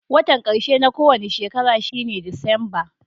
Wotan karshe na kowani shekara shine Disamba.